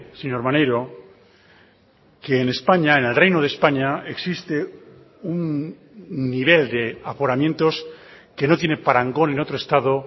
señor maneiro que en españa en el reino de españa existe un nivel de aforamientos que no tiene parangón en otro estado